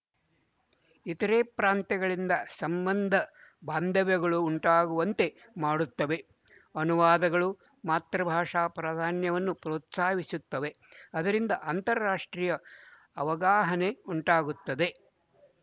ಇತರೆ ಪ್ರಾಂತಗಳಿಂದ ಸಂಬಂಧ ಬಾಂಧವ್ಯಗಳು ಉಂಟಾಗುವಂತೆ ಮಾಡುತ್ತದೆ ಅನುವಾದಗಳು ಮಾತೃಭಾಷಾ ಪ್ರಾಧಾನ್ಯವನ್ನು ಪ್ರೋತ್ಸಾಹಿಸುತ್ತದೆ ಅದರಿಂದ ಅಂತಾರಾಷ್ಟ್ರೀಯ ಅವಗಾಹನೆ ಉಂಟಾಗುತ್ತದೆ